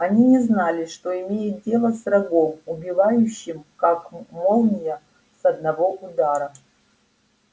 они не знали что имеют дело с врагом убивающим как молния с одного удара